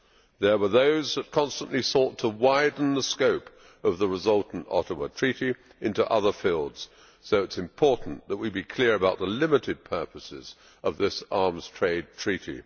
There were those that constantly sought to widen the scope of the resultant Ottawa Treaty into other fields, so it is important that we be clear about the limited purposes of this Arms Trade Treaty.